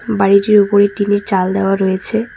বাড়িটির উপরে টিনের চাল দেওয়া রয়েছে।